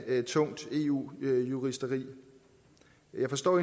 af tungt eu juristeri jeg forstår